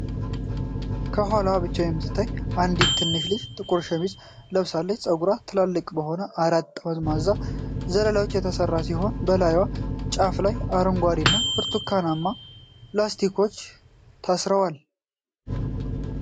ከኋላዋ ብቻ የምትታይ አንዲት ትንሽ ልጅ ጥቁር ሸሚዝ ለብሳለች። ፀጉሯ ትላልቅ በሆኑ አራት ጠማማ ዘለላዎች የተሠራ ሲሆን፣ በላዩና ጫፉ ላይ አረንጓዴና ብርቱካናማ ላስቲኮች ታስረዋል።